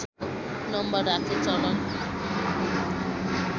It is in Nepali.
नम्बर राख्ने चलन